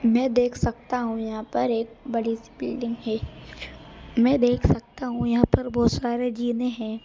मैं देख सकता हूं यहां पर एक बड़ी सी बिल्डिंग है मैं देख सकता हूं यहां पर बहोत सारे जीने हैं।